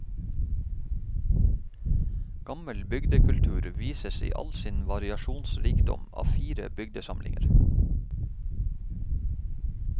Gammel bygdekultur vises i all sin variasjonsrikdom av fire bygdesamlinger.